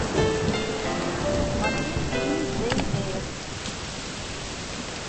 смотреть фильм джейн эйр